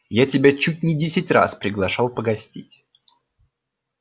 я тебя чуть не десять раз приглашал погостить